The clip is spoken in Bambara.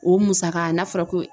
O musaka n'a fɔra ko